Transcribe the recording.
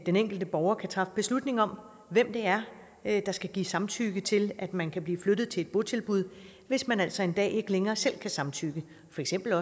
den enkelte borger kan træffe beslutning om hvem det er er der skal gives samtykke til at man kan blive flyttet til et botilbud hvis man altså en dag ikke længere selv kan samtykke for eksempel